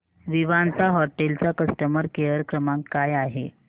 Vivanta hotel चा customer care क्रमांक काय आहे